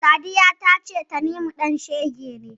Sadiya ta ce Tanimu ɗan shege ne.